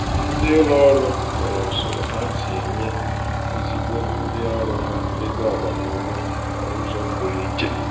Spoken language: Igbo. " ndị ụlọ ọrụ nwere usoro ha si enye ezigbo ndị ọrụ ha ego agbamume n'ụzọ pụrụ ichè"